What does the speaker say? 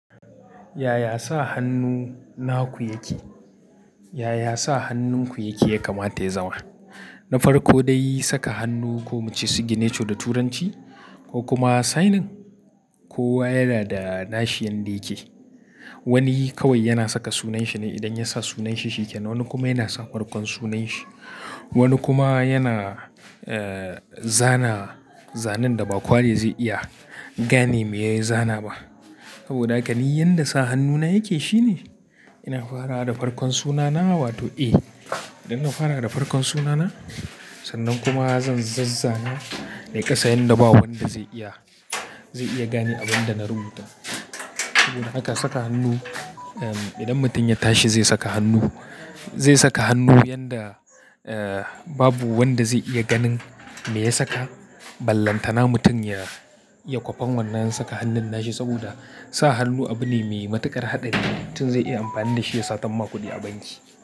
Yaya sa hannu naku yake? Yaya sa hannunku yake yakamata ya zama? Na farko dai saka hannu ko muce signature da Turanci ko kuma signing, kowa yana da nashi yanda yake. Wani kawai yana saka sunanshi ne idan ya sa sunanshi shiken, wani kuma yana sa farkon sunanshi, wani kuma yana, eh, zana zanen da ba kowane zai iya gane me ya yi zana ba. Saboda haka ni yanda sa hannuna yake shine ina fara da farkon sunana wato A. Idan na fara da farkon sunana sannan kuma zan zazzana nai ƙasa yanda babu wanda zai iya, zai iya gane abin da na rubuta. Saboda haka saka hannu, idan mutum ya tashi zai saka hannu, zai saka hannu yanda, eh, babu wanda zai iya ganin me ya saka. Ballantana mutum ya, ya kwafen wannan in saka hannun nashi saboda sa hannu abu ne me matuƙar haɗari. Mutum zai iya amfani da shi ya satar ma ku kuɗi a banki.